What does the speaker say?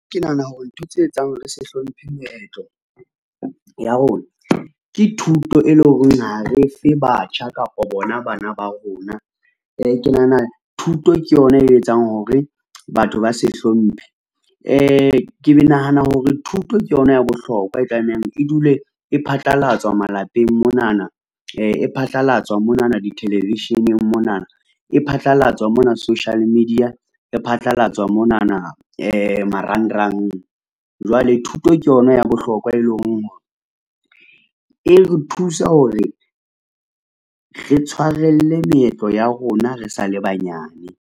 Ke nahana hore ntho tse etsang hore se hlomphe meetlo ya rona ke thuto, e leng hore ha re fe batjha kapa bona bana ba rona. Ke nahana thuto ke yona e etsang hore batho ba se hlomphe. Ke nahana hore thuto ke yona ya bohlokwa e tlamehang e dule e phatlalatswa malapeng monana. E phatlalatswa monana di-television-eng monana. E phatlalatswa mona social media. E phatlalatswa monana marangrang. Jwale thuto ke yona ya bohlokwa e leng hore e re thusa hore re tshwarelle meetlo ya rona re sa le banyane.